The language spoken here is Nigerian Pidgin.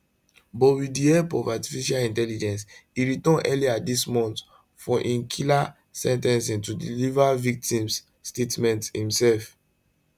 but wit di help of artificial intelligence e return earlier dis month for im killer sen ten cing to deliver victims statement imsef